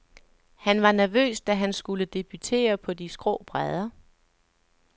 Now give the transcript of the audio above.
Han var nervøs, da han skulle debutere på de skrå brædder.